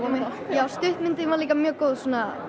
já stuttmyndin var líka mjög góð